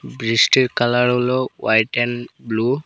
বৃষ্টির কালার হল white and blue.